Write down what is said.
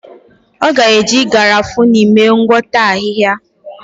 Ọ ga-eji Garafuni mee ngwakọta ahịhịa.